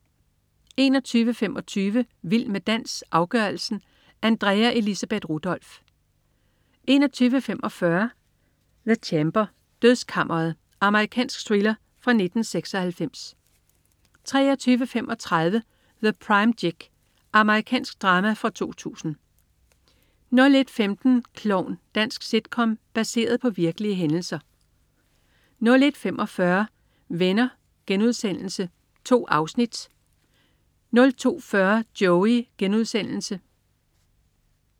21.25 Vild med dans, afgørelsen. Andrea Elisabeth Rudolph 21.45 The Chamber. Dødskammeret. Amerikansk thriller fra 1996 23.35 The Prime Gig. Amerikansk drama fra 2000 01.15 Klovn. Dansk sitcom baseret på virkelige hændelser 01.45 Venner.* 2 afsnit. Amerikansk komedieserie 02.40 Joey.* Amerikansk komedieserie